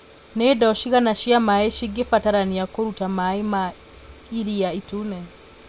Nĩ ndoo cigana cia maĩ cingĩbatarania kũruta maĩ ma Iria Itune